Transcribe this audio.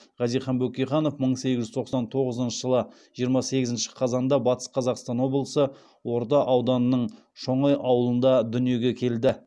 хазихан бөкейханов мың сегіз жүз тоқсан тоғызыншы жылы жиырма сегізінші қазанда батыс қазақстан облысы орда ауданының шоңай ауылында дүниеге келді